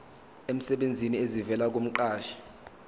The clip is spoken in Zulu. emsebenzini esivela kumqashi